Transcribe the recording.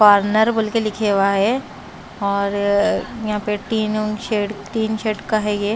corner बोल के लिखे हुआ है और यहाँ पे टीन उन शेड तीन शेड का है ये --